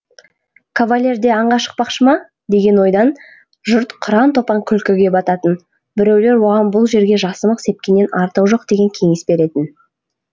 кавалер де аңға шықпақшы ма деген ойдан жұрт қыран топан күлкіге бататын біреулер оған бұл жерге жасымық сепкеннен артығы жоқ деген кеңес беретін